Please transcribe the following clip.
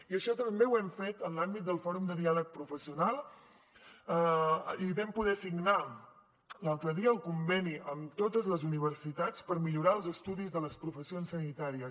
i això també ho hem fet en l’àmbit del fòrum de diàleg professional i vam poder signar l’altre dia el conveni amb totes les universitats per millorar els estudis de les professions sanitàries